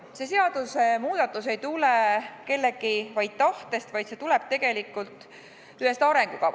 See seadusemuudatus ei tulene kellegi tahtest, vaid see tuleneb tegelikult ühest arengukavast.